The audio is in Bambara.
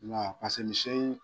Nka